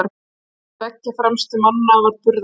Á milli tveggja fremstu mannanna var burðarveggur.